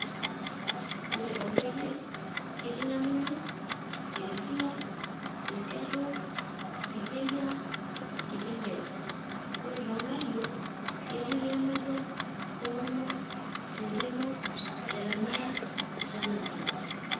Ore toontoyie, ketii Namunyak, Teresia, Resiato, Siteyia, Tipinket. Ore toonkayiok, ketii Lemayian, Solomon, Tentemo,j Jeremiah, Jonathan.